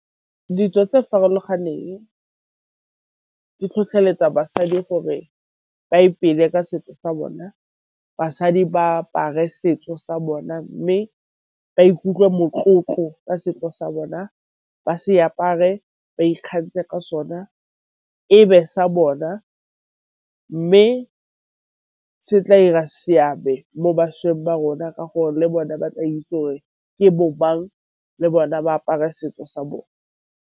Ditso tse farologaneng di tlhotlheletsa basadi gore ba ipele ka setso sa bona. Basadi ba apare setso sa bona mme ba ikutlwe motlotlo ka setso sa bona, ba se apare ba ikgantshe ka so na e be sa bona. Mme se tla 'ira seabe mo bašweng ba rona ka gore le bone ba tla itse gore ke bo mang le bona ba apare setso sa bone.